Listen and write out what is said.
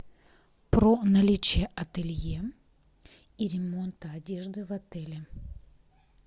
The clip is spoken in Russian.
про наличие ателье и ремонта одежды в отеле